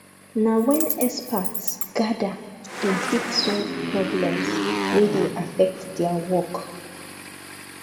na wen experts gather dem fit solve problems wey dey affect their work